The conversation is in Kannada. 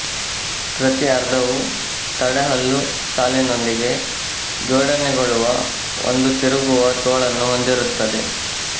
ಪ್ರತಿ ಅರ್ಧವು ತಡೆಹಲ್ಲು ಸಾಲಿನೊಂದಿಗೆ ಜೋಡಣೆಗೊಳ್ಳುವ ಒಂದು ತಿರುಗುವ ತೋಳನ್ನು ಹೊಂದಿರುತ್ತದೆ